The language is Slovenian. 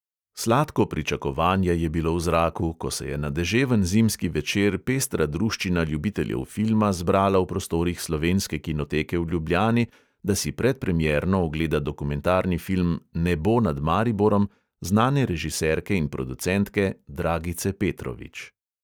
Sladko pričakovanje je bilo v zraku, ko se je na deževen zimski večer pestra druščina ljubiteljev filma zbrala v prostorih slovenske kinoteke v ljubljani, da si predpremierno ogleda dokumentarni film nebo nad mariborom znane režiserke in producentke dragice petrovič.